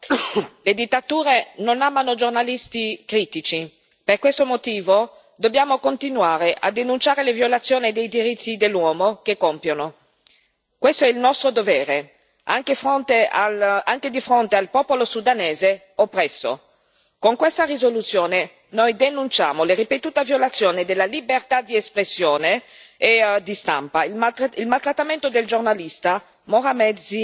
Signor Presidente, onorevoli colleghi, signor Commissario, le dittature non amano giornalisti critici. Per questo motivo dobbiamo continuare a denunciare le violazioni dei diritti dell'uomo che compiono. Questo è il nostro dovere anche di fronte al popolo sudanese oppresso. Con questa risoluzione noi denunciamo la ripetuta violazione della libertà di espressione